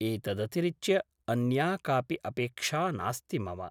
एतदतिरिच्य अन्या कापि अपेक्षा नास्ति मम ।